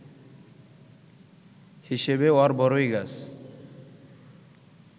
হিসেবে অরবড়ই গাছ